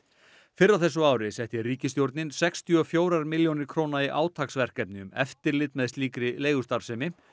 fyrr á þessu ári setti ríkisstjórnin sextíu og fjórar milljónir króna í átaksverkefni um eftirlit með slíkri leigustarfsemi